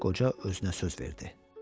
qoca özünə söz verdi.